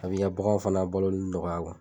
A b'i ka baganw fana baloli nɔgɔya kun